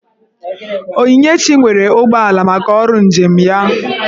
Onyinyechi nwere ụgbọala maka ọrụ njem ya